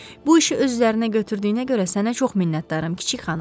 Bu işi öz üzərinə götürdüyünə görə sənə çox minnətdaram, kiçik xanım.